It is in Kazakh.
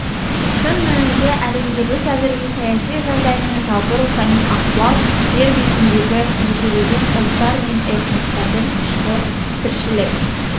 шын мәнінде әлемдегі қазіргі саяси жағдай мен жалпы рухани ахуал жер бетіндегі жекелеген ұлттар мен этностардың ішкі тіршілік